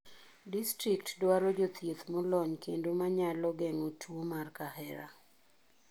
Distrikt dwaro jothieth molony kendo manyalo gengo tuo mar kahera